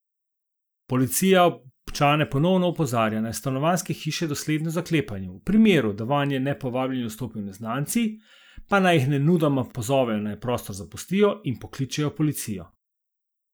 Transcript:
Policija občane ponovno opozarja, naj stanovanjske hiše dosledno zaklepajo, v primeru, da vanje nepovabljeni vstopijo neznanci, pa naj jih nemudoma pozovejo, naj prostor zapustijo, in pokličejo policijo.